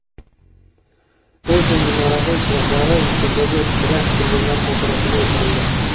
Eyfel minorasi chiroqlari Misrdagi terakt qurbonlari xotirasiga o‘chirildi.